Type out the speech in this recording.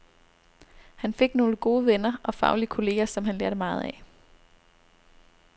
Han fik nogle gode venner og faglige kolleger, som han lærte meget af.